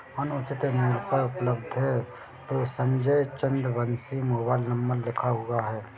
अनुचित हैपर उपलब्ध है और संजय चंद्रवंशी मोबाईल नंबर लिखा हुआ है।